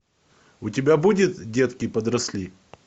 у тебя будет детки подросли